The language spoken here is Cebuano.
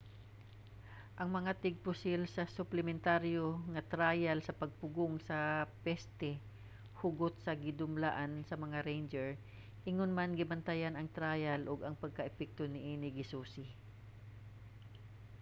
ang mga tigpusil sa suplementaryo nga trial sa paggpugong sa peste hugot nga gidumalaan sa mga ranger ingon man gibantayan ang trial ug ang pagka-epektibo niini gisusi